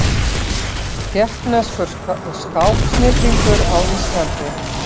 Tékkneskur skáksnillingur á Íslandi